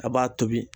A b'a tobi